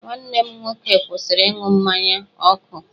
Nwanne m nwoke kwụsịrị ịṅụ mmanya ọkụ.